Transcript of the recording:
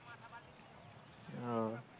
ও